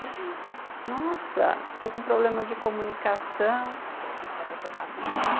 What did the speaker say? nossa, estou com problema de comunicação... Um pouquinho só para trocar a fita.